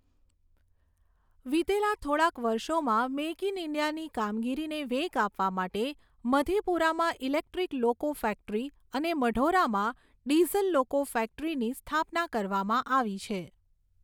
વિતેલા થોડાક વર્ષોમાં મેક ઈન ઈન્ડિયાની કામગીરીને વેગ આપવા માટે મધેપુરામાં ઈલેક્ટ્રીક લોકો ફેક્ટરી અને મઢૌરામાં ડિઝલ લોકો ફેક્ટરીની સ્થાપના કરવામાં આવી છે.